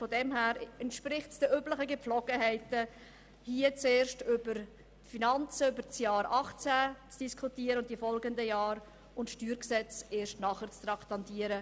Aus dieser Sicht entspricht es den üblichen Gepflogenheiten, hier zuerst über die Finanzen des Jahres 2018 und der Folgejahre zu diskutieren und das Steuergesetz erst danach zu traktandieren.